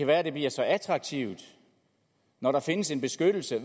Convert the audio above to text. være at det bliver så attraktivt når der findes en beskyttelse